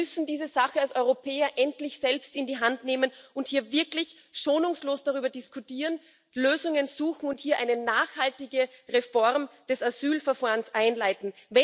Wir müssen diese Sache als Europäer endlich selbst in die Hand nehmen und hier wirklich schonungslos darüber diskutieren, Lösungen suchen und hier eine nachhaltige Reform des Asylverfahrens einleiten.